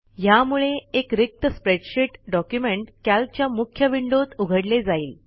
ह्यामुळे एक रिक्त स्प्रेडशीट डॉक्युमेंट Calcच्या मुख्य विंडोत उघडले जाईल